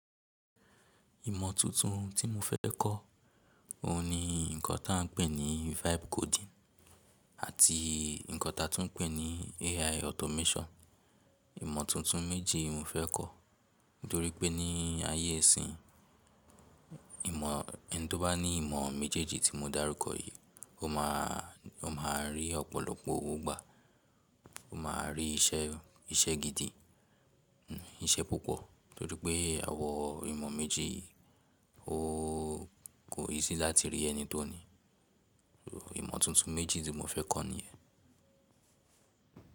Ìmọ̀ tuntun tí mo fẹ́ kọ́, òun ni nǹkan tí à ń pè ní vibe coding àti nǹkan ta tún ń pè ní AI automation. Ìmọ̀ tuntun méjì yi mo fẹ́ kọ́, nítorí pé ní ayé ìsín, ìmọ̀ ẹn tó bá ní ìmọ̀ méjèèjì tí mo dárúkọ yìí, ó máa, ó máa rí ọ̀pọ̀lọpọ̀ owo gbà, ó máa rí iṣẹ́, iṣẹ́ gidi, iṣẹ́ púpọ̀. Nítorí pé àwọn imo méjì yi kò, kò easy láti rí ẹni tó ní. Ìmọ̀ tuntun méjì tí mo fẹ́ kọ́ nìyẹn.